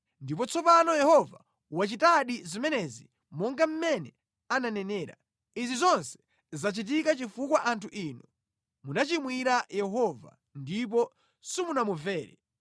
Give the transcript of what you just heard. Ndipo tsopano Yehova wachitadi zimenezi monga mmene ananenera. Izi zonse zachitika chifukwa anthu inu munachimwira Yehova ndipo simunamumvere.